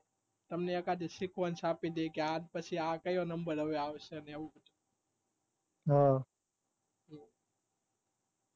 તમને એકાદી sequence આપીદે કે આ પછી કયો નંબર આવશે હા